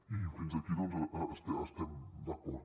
i fins aquí doncs hi estem d’acord